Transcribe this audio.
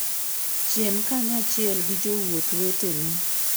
Chiem kanyachiel gi jowuoth weteni.